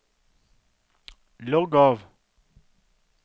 logg av